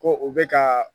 Ko u bɛ ka